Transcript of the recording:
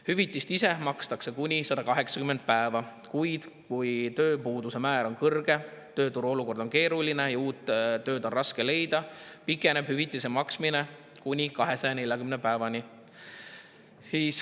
Hüvitist makstakse kuni 180 päeva, kuid kui tööpuuduse määr on kõrge, tööturu olukord on keeruline ja uut tööd on raske leida, pikeneb hüvitise maksmise kuni 240 päevani.